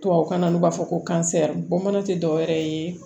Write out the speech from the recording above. Tubabukan na u b'a fɔ ko bɔn mana tɛ dɔwɛrɛ ye